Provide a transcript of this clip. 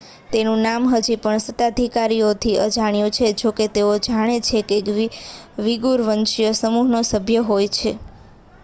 તેનું નામ હજી પણ સત્તાધિકારીઓથી અજાણ્યું છે જોકે તેઓ જાણે છે કે તે વીગૂર વંશીય સમૂહનો સભ્ય છે